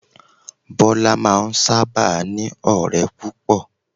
Bọ́lá máa n sáábà ní ọ̀rẹ́ púpọ̀